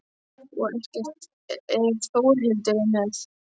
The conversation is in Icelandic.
Og ekkert ef Þórhildur er með.